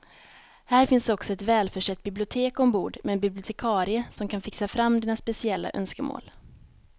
Här finns också ett välförsett bibliotek ombord med en bibliotekarie som kan fixa fram dina speciella önskemål.